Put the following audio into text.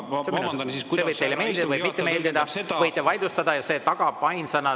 See võib teile meeldida või mitte meeldida, võite selle vaidlustada.